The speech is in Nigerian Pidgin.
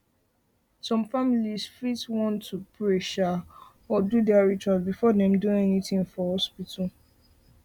some families fit want um to pray um or do their rituals before dem do anything for um hospital